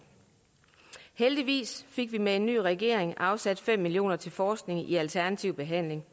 heldigvis fik vi med en ny regering afsat fem million kroner til forskning i alternativ behandling